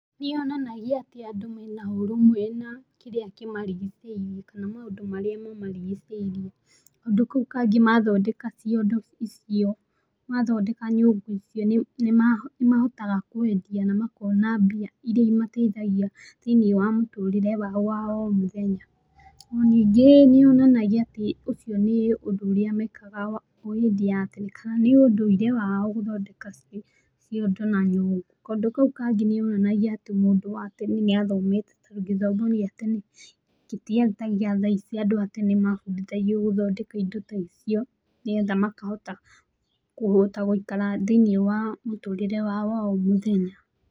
Nĩyonanagia atĩ andũ marĩ na ũrũmwe na kĩrĩa kĩmarigicĩirie, kana maũndũ marĩa mamarigĩcĩirie, kaũndũ kau kangĩ mathondeka ciondo icio , mathondeka nyũngũ icio nĩmahotaga kwendia na makona mbia iria imateithagia thĩinĩ wa mũtũrĩre wao wa o mũthenya, na ningĩ nĩyonanagia atĩ ũcio nĩ ũndũ ũrĩa mekaga hĩndĩ ĩyo ya tene nĩũndũire wao gũthondeka ciondo na nyũngũ, kaũndũ kau kangĩ nĩyonanagia atĩ mũndũ wa tene nĩathomete gĩthomo gĩa tene na gĩtiarĩ ta gia thaa ici andũ a tene mabundithagio gũthondeka indo ta icio, nĩgetha makahota kũhota gũikara thĩinĩ wa mũtũrĩre wao wa o mũthenya.